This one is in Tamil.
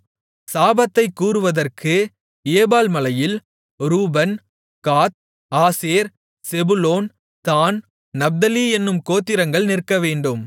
சாபத்தைக் கூறுவதற்கு ஏபால் மலையில் Reuben Gad Asher Zebulun Dan Naphtali என்னும் கோத்திரங்கள் நிற்கவேண்டும்